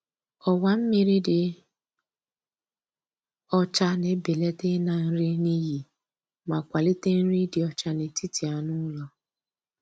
Ọwa mmiri dị ọcha na-ebelata ịna nri n’iyi ma kwalite nri ịdị ọcha n'etiti anụ ụlọ.